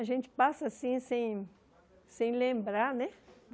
A gente passa assim sem sem lembrar, né?